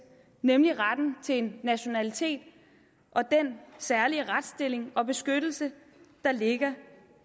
nemlig retten til en nationalitet og den særlige retsstilling og beskyttelse der ligger